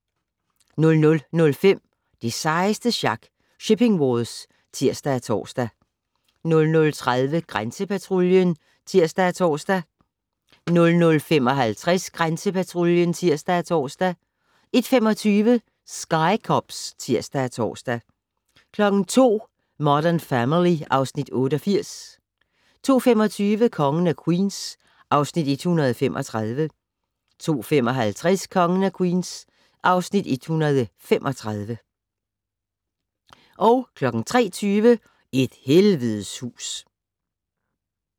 00:05: Det sejeste sjak - Shipping Wars (tir og tor) 00:30: Grænsepatruljen (tir og tor) 00:55: Grænsepatruljen (tir og tor) 01:25: Sky Cops (tir og tor) 02:00: Modern Family (Afs. 88) 02:25: Kongen af Queens (Afs. 134) 02:55: Kongen af Queens (Afs. 135) 03:20: Et helvedes hus